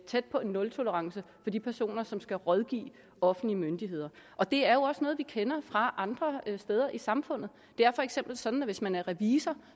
tæt på en nultolerance for de personer som skal rådgive offentlige myndigheder og det er jo også noget vi kender fra andre steder i samfundet det er for eksempel sådan at hvis man er revisor